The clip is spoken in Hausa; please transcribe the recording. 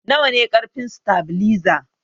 Nawane karfin satabiliza?